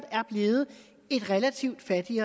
sige